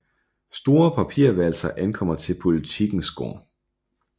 Store papirvalser ankommer til Politikens gård